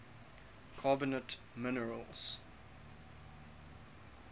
carbonate minerals